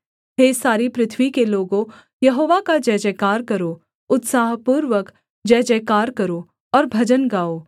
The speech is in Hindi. हे सारी पृथ्वी के लोगों यहोवा का जयजयकार करो उत्साहपूर्वक जयजयकार करो और भजन गाओ